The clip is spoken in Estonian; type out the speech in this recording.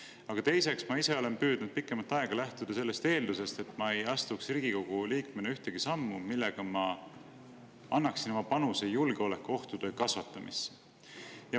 Aga teiseks, ma ise olen püüdnud pikemat aega lähtuda sellest eeldusest, et ma ei astuks Riigikogu liikmena ühtegi sammu, millega ma annaksin oma panuse julgeolekuohtude kasvatamisse.